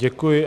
Děkuji.